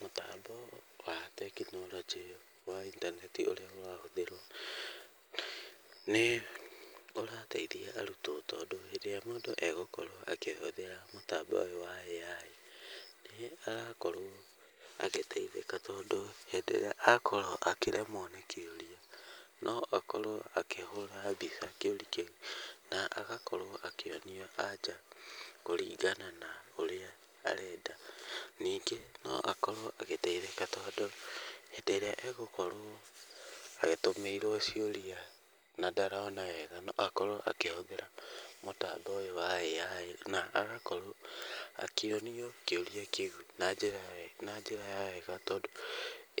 Mũtambo wa tekinoronjĩ wa intaneti ũrĩa ũrahũthĩrwo nĩ ũrateithia arutwo tondũ hĩndĩ ĩrĩa mũndũ egũkorwo akĩhũthĩra mũtambo ũyũ wa AI, nĩ arakorwo agĩteithĩka. Tondũ hĩndĩ ĩrĩa akorwo akĩremwo nĩ kĩũria, no akorwo akĩhũra mbica kĩũria kĩu na agakorwo akĩonio anja kũringana na ũrĩa arenda. Ningĩ no akorwo agĩteithĩka tondũ hĩndĩ ĩrĩa egũkorwo atũmĩirwo ciũria na ndarona wega, no akorwo akĩhũthĩra mũtambo ũyũ wa AI. Na agakorwo akĩonio kĩũria kĩu na njĩra ya wega tondũ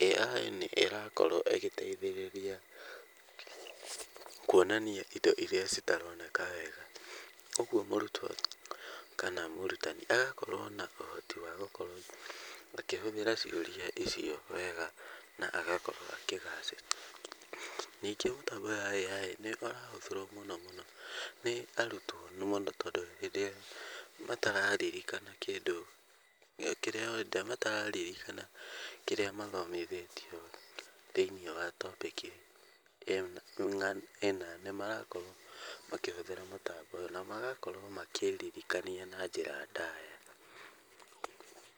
AI nĩ ĩrakorwo ĩgĩteithĩrĩria kuonania indo irĩa citaroneka wega. Ũguo mũrutwo kana mũrutani agakorwo na ũhoti wa gũkorwo akĩhũthĩra ciũria icio wega na agakorwo akĩgacĩra. Ningĩ mũtambo wa AI nĩ ũrahũthĩrwo mũno mũno nĩ arutwo mũno tondũ hĩndĩ ĩrĩa matararirikana kĩndũ kĩrĩa hĩndĩ ĩrĩa matararirikana kĩrĩa mathomithĩtio thĩinĩ wa topic ĩna nĩ marakorwo makĩhũthĩra mũtambo ũyũ. Na magakorwo makĩririkania na njĩra ndaya.